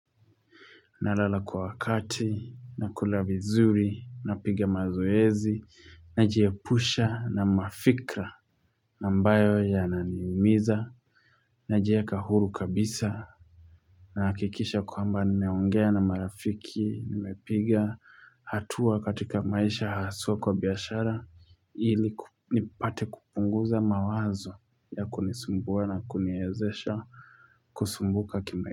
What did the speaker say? Nalala kwa wakati, nakula vizuri, napiga mazoezi, najiepusha na mafikra ambayo yananimiza, najieka huru kabisa, nahakikisha kwamba nimeongea na marafiki, nimepiga hatua katika maisha haswa kwa biashara, ili nipate kupunguza mawazo ya kunisumbua na kuniwezesha, kusumbuka kima.